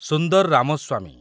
Sundar Ramaswamy